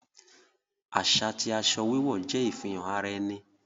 Aṣa ti aṣọ wíwọ̀ jẹ ifihàn ara ènì